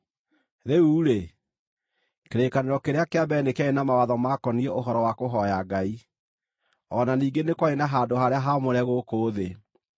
Rĩu-rĩ, kĩrĩkanĩro kĩrĩa kĩa mbere nĩ kĩarĩ na mawatho maakoniĩ ũhoro wa kũhooya Ngai, o na ningĩ nĩ kwarĩ na handũ-harĩa-haamũre gũkũ thĩ.